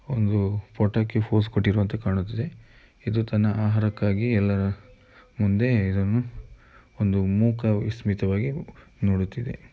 ಒಂದು ಪೋಟೋಕ್ಕೆ ಪೋಸ್‌ ಕೊಟ್ಟಿರುವಂತೆ ಕಾಣುತ್ತಿದೆ. ಇದು ತನ್ನ ಆಹಾರಕ್ಕಾಗಿ ಎಲ್ಲರ ಮುಂದೆ ಇದನ್ನು ಒಂದು ಮೂಕವಿಸ್ಮಿತವಾಗಿ ನೋಡುತ್ತಿದೆ.